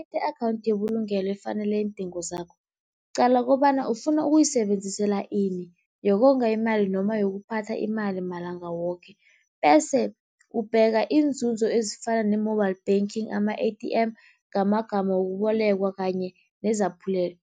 I-akhawunthi yebulungelo efanele iindingo zakho, qala kobana ufuna ukuyisebenzisela ini. Yokonga imali noma yokuphatha imali malanga woke? Bese, ubheka iinzunzo ezifana ne-mobile banking, ama-A_T_M ngamagama wokubolekwa kanye nezaphulelo.